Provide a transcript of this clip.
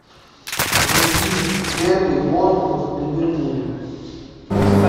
вруби дерби борнмут ливерпуль